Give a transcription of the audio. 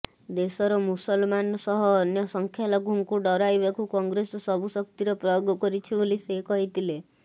ଦେଶର ମୁସଲମାନ ସହ ଅନ୍ୟ ସଂଖ୍ୟାଲଘୁଙ୍କୁ ଡରାଇବାକୁ କଂଗ୍ରେସ ସବୁ ଶକ୍ତିର ପ୍ରୟୋଗ କରିଛି ବୋଲି ସେ କହିଥିଲେ